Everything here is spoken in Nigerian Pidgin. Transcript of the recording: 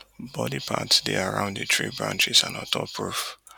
body parts dey around di tree branches and ontop roof